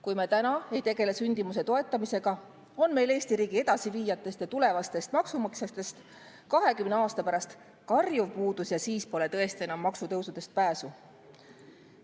Kui me praegu ei tegele sündimuse toetamisega, on meil Eesti riigi edasiviijatest ja tulevastest maksumaksjatest 20 aasta pärast karjuv puudus ja siis pole tõesti enam maksutõusudest pääsu.